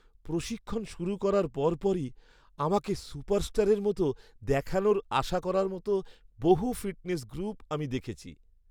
প্রশিক্ষণ শুরু করার পরপরই আমাকে সুপারস্টারের মতো দেখানোর আশা করার মতো বহু ফিটনেস গ্রুপ আমি দেখেছি।